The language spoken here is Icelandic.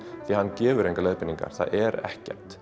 hann gefur engar leiðbeiningar það er ekkert